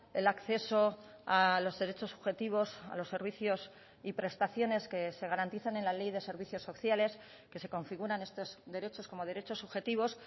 el acceso a los derechos subjetivos a los servicios y prestaciones que se garantizan en la ley de servicios sociales que se configuran estos derechos como derechos subjetivos